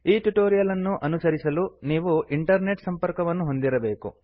ಈ ಟ್ಯುಟೋರಿಯಲ್ ಅನ್ನು ಅನುಸರಿಸಲು ನೀವು ಇಂಟರ್ನೆಟ್ ಸಂಪರ್ಕವನ್ನು ಹೊಂದಿರಬೇಕು